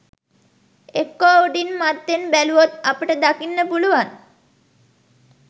එක්කෝ උඩින් මත්තෙන් බැලුවොත් අපට දකින්න පුළුවන්